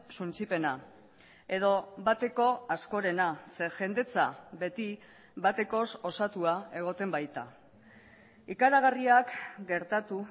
suntsipena edo bateko askorena ze jendetza beti batekoz osatua egoten baita ikaragarriak gertatu